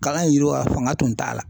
Kalan in yiriwa fanga tun t'a la